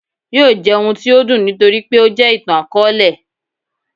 yóò jẹ ohún tí o dùn nítorí pé o jẹ ìtán-akọọlẹ.